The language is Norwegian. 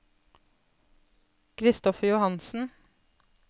Christopher Johansen